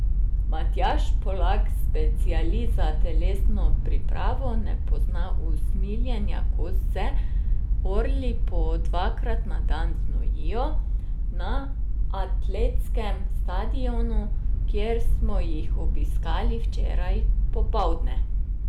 Matjaž Polak, specialist za telesno pripravo, ne pozna usmiljenja, ko se orli po dvakrat na dan znojijo na atletskem stadionu, kjer smo jih obiskali včeraj popoldne.